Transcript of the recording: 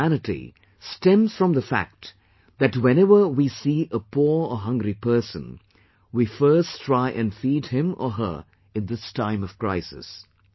Our humanity stems from the fact that whenever we see a poor or hungry person, we first try and feed him or her in this time of crisis